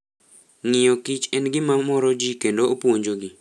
Ng'iyo Kich en gima moro ji kendo opuonjogi.